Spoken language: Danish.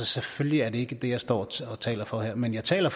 selvfølgelig er det ikke det jeg står og taler for her men jeg taler